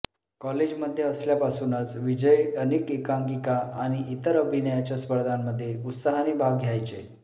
कॉलेजमध्ये असल्यापासूनच विजय अनेक एकांकिका आणि इतर अभिनयाच्या स्पर्धांमध्ये उत्साहाने भाग घ्यायचे